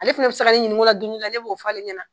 Ale fɛnɛ bi sa ka ne ɲininka o la don dɔ la, ne b'o f'ale ɲɛna.